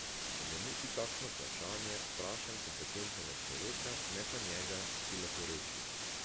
Če me muči kakšno vprašanje, vprašam kompetentnega človeka, ne pa njega, ki leporeči.